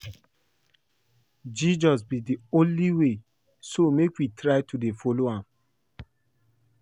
Jesus be the only way so make we try to dey follow am